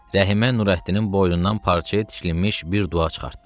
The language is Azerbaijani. Rəhimə Nurəddinin boynundan parçaya tikilmiş bir dua çıxartdı.